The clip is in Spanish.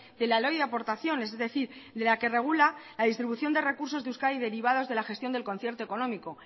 de la ley de aportaciones es decir de la que regula la distribución de recursos de euskadi derivados de la gestión del concierto económico